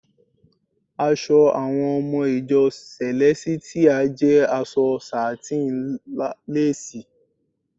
Aṣọ àwọn ọmọ ìjọ sẹ̀lẹ́sítíà jẹ aṣọ sátíń lásìì.